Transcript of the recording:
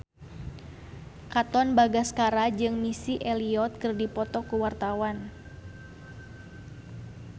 Katon Bagaskara jeung Missy Elliott keur dipoto ku wartawan